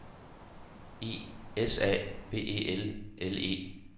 I S A B E L L E